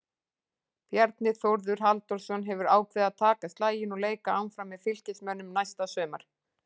Bjarni Þórður Halldórsson hefur ákveðið að taka slaginn og leika áfram með Fylkismönnum næsta sumar.